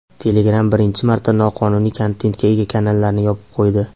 Telegram birinchi marta noqonuniy kontentga ega kanallarni yopib qo‘ydi.